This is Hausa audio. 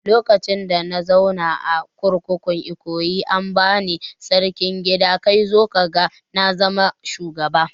Lokacin da na zauna a kurkukun Ikoyi an bani Sarkin gida kai zo kaga na zama shugaba